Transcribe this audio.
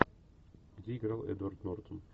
где играл эдвард нортон